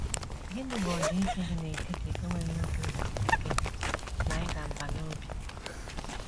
Gịnị bụ ọdịiche dị n’etiti enweghị obi ụtọ nkịtị na ịda mbà n’obi?